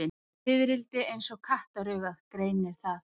Fiðrildi eins og kattaraugað greinir það.